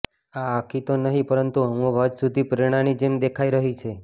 આ આખી તો નહિ પરંતુ અમુક હદ સુધી પ્રેરણાની જેમ દેખાઈ રહી છે